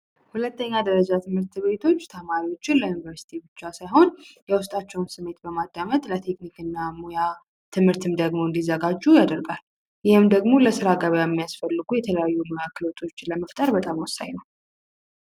ሁለተኛ ደረጃ ትምህርት ቤቶች ተማሪዎችን ለዩኒቨርስቲ ብቻ ሳይሆን የውስጣቸውን ስሜት በማዳመጥ ለቴክኒክ እና ሙያ ትምሀርትም ደግሞ እንዲዘጋጁ ያደርጋል። ይሄም ደግሞ ለስራ ገበያ ሚያስፈልጉ የተለያዩ ክህሎቶችን ለመፍጠር በጣም ወሳኝ ነው።